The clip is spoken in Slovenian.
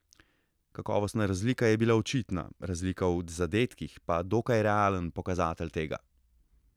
Kakovostna razlika je bila očitna, razlika v zadetkih pa dokaj realen pokazatelj tega.